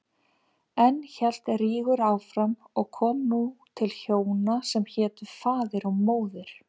Enn hélt Rígur áfram og kom nú til hjóna sem hétu Faðir og Móðir.